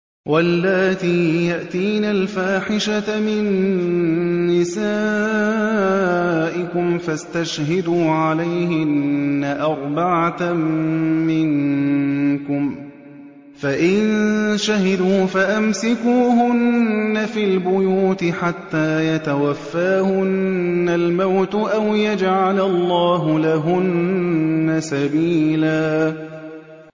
وَاللَّاتِي يَأْتِينَ الْفَاحِشَةَ مِن نِّسَائِكُمْ فَاسْتَشْهِدُوا عَلَيْهِنَّ أَرْبَعَةً مِّنكُمْ ۖ فَإِن شَهِدُوا فَأَمْسِكُوهُنَّ فِي الْبُيُوتِ حَتَّىٰ يَتَوَفَّاهُنَّ الْمَوْتُ أَوْ يَجْعَلَ اللَّهُ لَهُنَّ سَبِيلًا